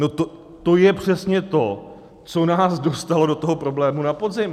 No to je přesně to, co nás dostalo do toho problému na podzim!